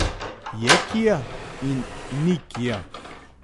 Je kia in ni kia.